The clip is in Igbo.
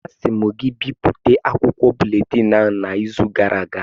Asị m gị bipụta akwụkwọ buletịn ahụ n' izu gara aga!